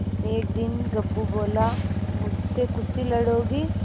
एक दिन गप्पू बोला मुझसे कुश्ती लड़ोगे